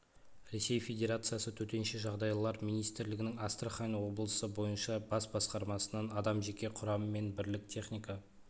ресей федерациясы төтенше жағдайлар министрлігінің астрахан облысы бойынша бас басқармасынан адам жеке құрам мен бірлік техника